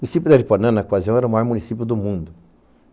O município de Aripuanã, na ocasião, era o maior município do mundo.